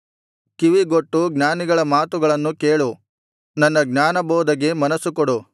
ಕಿವಿಗೊಟ್ಟು ಜ್ಞಾನಿಗಳ ಮಾತುಗಳನ್ನು ಕೇಳು ನನ್ನ ಜ್ಞಾನಬೋಧೆಗೆ ಮನಸ್ಸು ಕೊಡು